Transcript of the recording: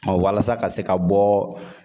wasa ka se ka bɔ